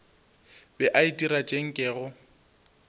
be a itira tše nkego